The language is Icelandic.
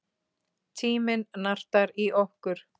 Tíminn nartar í okkur.